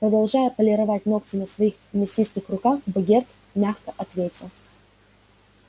продолжая полировать ногти на своих мясистых руках богерт мягко ответил